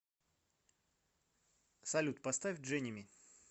салют поставь дженими